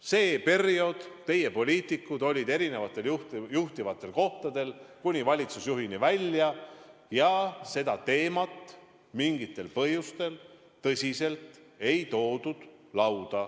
Sel perioodil olid teie poliitikud erisugustel juhtivatel kohtadel, kuni valitsusjuhini välja, kuid seda teemat mingitel põhjustel tõsiselt lauda ei toodud.